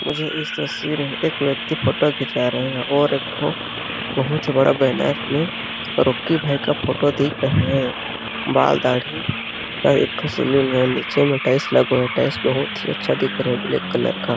मुझे इस तस्वीर में एक व्यक्ति फोटो खींचा रहे है और एक ठो बहुत ही बड़ा बैनर में रॉकी भाई का फोटो दिख रहा है बाल दाढ़ी का एक ठो सैलून है नीचे में टाइल्स लगा हुआ है टाइल्स बहुत ही अच्छा दिख रहा है ब्लैक कलर का--